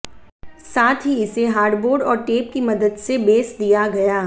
साथ ही इसे हार्डबोड और टेप की मदद से बेस दिया गया